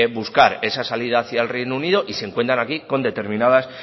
buscar esa salida hacia el reino unido y se encuentran aquí con determinadas